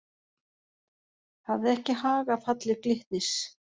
Hafði ekki hag af falli Glitnis